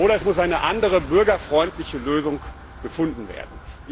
Oder es muss eine andere, bürgerfreundliche Lösung gefunden werden.